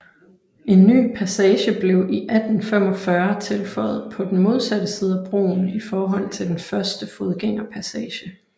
En ny passage blev i 1845 tilføjet på den modsatte side af broen i forhold til den første fodgængerpassage